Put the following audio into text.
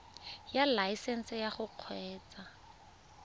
ya laesesnse ya go kgweetsa